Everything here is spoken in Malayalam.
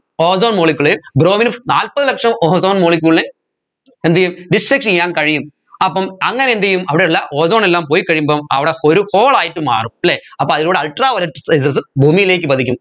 ozone molecule bromine ന് നാല്പത് ലക്ഷം ozone molecule നെ എന്തുചെയ്യും destruct ചെയ്യാൻ കഴിയും അപ്പം അങ്ങനെ എന്ത് ചെയ്യും അവിടെയുള്ള ozone എല്ലാം പോയി കഴിയുമ്പം അവിടെ ഒരു hole ആയിട്ട് മാറും അല്ലെ അപ്പോ അതിലൂടെ ultraviolet rayses ഭൂമിയിലേക്ക് പതിക്കും